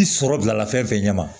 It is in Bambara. I sɔrɔ bilala fɛn fɛn ɲɛ ma